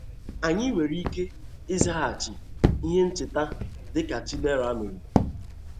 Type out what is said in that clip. Anyị nwere ike ịzaghachi ihe ncheta dị ka Chidera mere?